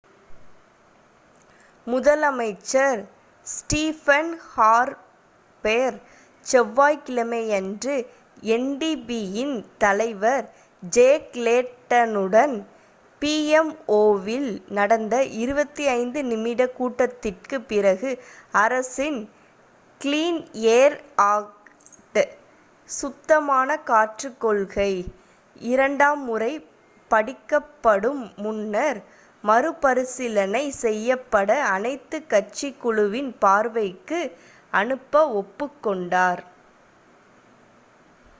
முதலமைச்சர் Stephen Harper செவ்வாய்க் கிழமையன்று எண்டிபியின் தலைவர் ஜேக் லேடனுடன் பிஎம்ஓவில் நடந்த 25 நிமிட கூட்டத்திற்குப் பிறகு அரசின் 'க்ளீன் ஏர் ஆக்ட்/சுத்தமான காற்றுக் கொள்கை' இரண்டாம் முறை படிக்கப்படும் முன்னர் மறுபரிசீலனை செய்யப்பட அனைத்துக் கட்சிக் குழுவின் பார்வைக்கு அனுப்ப ஒப்புக்கொண்டார்